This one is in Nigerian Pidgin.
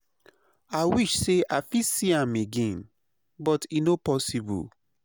I wish say i fit see am again, but e no posssible.